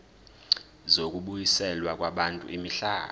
zokubuyiselwa kwabantu imihlaba